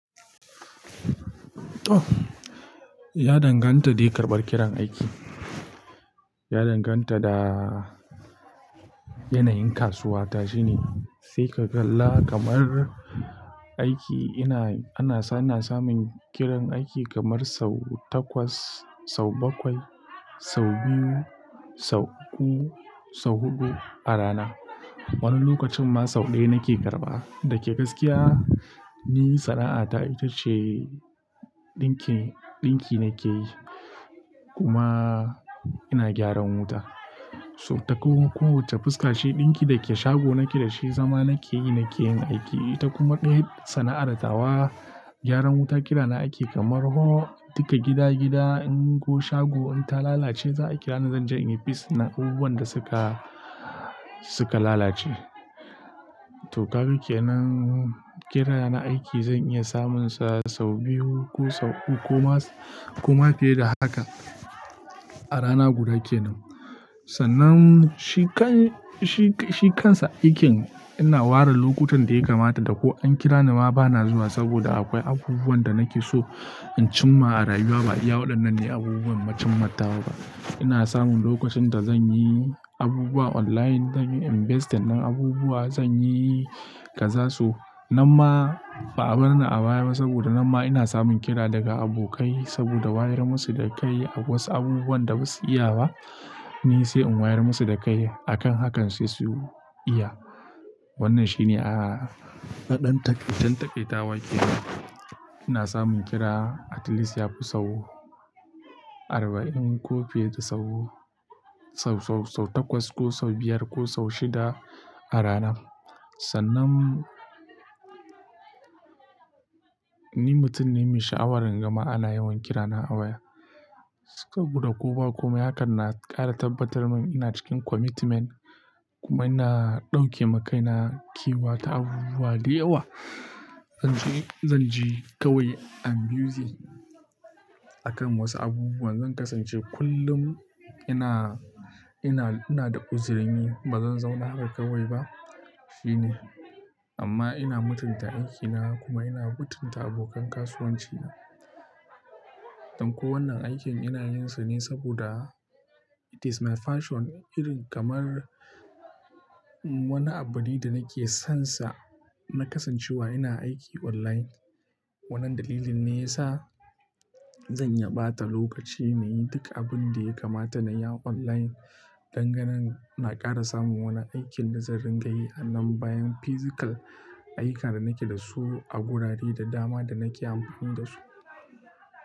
Ya danganta de ƙarɓar kiran aiki. Ya danganta da yanayin kasuwa to shine. Sai ka kalla kamar aiki ina, ana sa, ana samun kiran aiki kamar sau takwas, sau bakwai, sau biyu, sau uku, sau huɗu a rana. Wani lokacin ma sau ɗaya nake karɓa. Dake gaskiya, ni sana'ata ita ce ɗinki, ɗinki nake yi kuma ina gyaran wuta. So ta kowane, kowacce fuskace ɗinki dake shago nake da shi, zama nake yi, nake yin aiki. Ita kuma ɗaya sana'ar tawa, gyaran wuta, kira na aiki kamar ko duka gida, gida in ko shago in ta lalace za a kira ni zan je in yi fis na abubuwan da suka, suka lalace. To, kaga kenan kira na aiki zan iya samunsa sau biyu ko sau uku ko ma, ko ma fiye da haka a rana guda kenan. Sannan shikan, shi, shikansa aikin ina ware lokutan da ya kamata da ko an kira ni ma bana zuwa saboda akwai abubuwan da nake so in cimma a rayuwa ba iya waɗannan ne abubuwan macen matawa ba. Ina samun lokacin da zan yi abubuwa online, zan yi investing na abubuwa, zan yi kazasu. Nan ma ba a bar ni a baya ba saboda na ma ina samun kira daga abokai, saboda wayar musu da kai a wasu abubuwan da basu iya wa, ni sai in wayar musu da kai. Akan hakan sai su iya. Wannan shi ne a naɗan taƙi, dan taƙaitawa ke. Ina samun kira at least yafi sau arba'in ko fiye da sau, sau, sau takwas ko sau biyar ko sau shida a rana. Sannan ni mutum ne mai sha'awar jama'a na yawan kira na a waya. Saboda ko ba komai hakan na ƙara tabbatar mun ina cikin commitment kuma ina ɗauke ma kaina kewa ta abubuwa da yawa. Zan ji, zan ji kawai I'm busy akan wasu abubuwa. Zan kasance kullum ina, ina, ina da uzurin yi. Ba zan zauna haka kawai ba. Shi ne. Amma ina mutunta aikina kuma ina mutunta abokan kasuwanci na. Don ko wannan aikin ina yin sa ne saboda it is my passion irin kamar wani abu ne da nake son sa na kasancewa ina aiki online. Wannan dalilin ne ya sa zan iya bata lokaci na yi duk abin da ya kamata na yi online dangane na ƙara samun wani aikin da zan ringa yi anan bayan physical ayyukan da nake da su a gurare da dama da nake amfani da su.